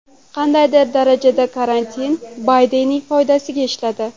Qandaydir darajada karantin Baydenning foydasiga ishladi.